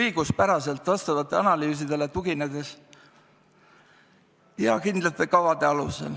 õiguspäraselt ja vajalikele analüüsidele tuginedes ja kindlate kavade alusel.